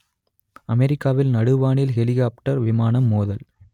அமெரிக்காவில் நடுவானில் ஹெலிகொப்டர் விமானம் மோதல்